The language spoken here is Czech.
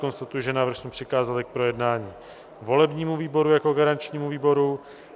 Konstatuji, že návrh jsme přikázali k projednání volebnímu výboru jako garančnímu výboru.